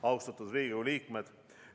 Austatud Riigikogu liikmed!